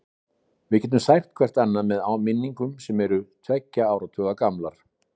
Við getum sært hvert annað með minningum sem eru tveggja áratuga gamlar.